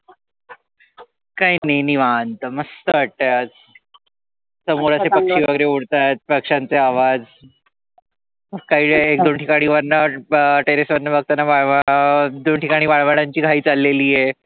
काही नाही, निवांत मस्त वाटतय आज. समोर असे पक्षी वगैरे उडत आहेत, पक्ष्यांचे आवाज. काही एक दोन ठिकाणी वरन terrace वरून बघताना एक दोन ठिकाणी वाय वडांची घाई चालली आहे.